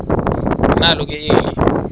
nalo ke eli